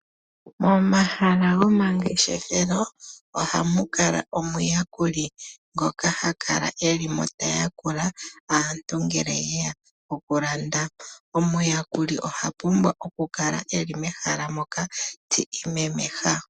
Momahala gomangeshefelo ohamu kala omuyakuli ngoka ha kala eli mo ta yakula aantu ngele ye ya oku landa. Omayakuli oha pumbwa oku kala eli mehala moka ti imemeha.